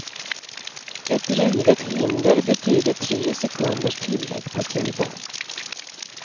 Ett rivet hinder betyder tre sekunders tillägg på tiden.